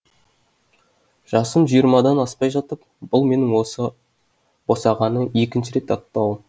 жасым жиырмадан аспай жатып бұл менің осы босағаны екінші рет аттауым